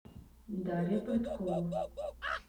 дарья прыткова